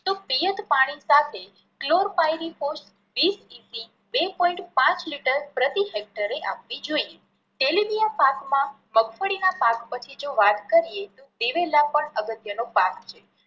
તો પિયત પાણી સાથે બે પોઈન્ટ પાંચ લિટર પ્રતિ હેકટરે આપવી જોઈએ. તેલીબિયા પાકમાં મગફળી ના પાક પછી જો વાત કરીએ દિવેલા પણ અગત્ય નો પાક છે.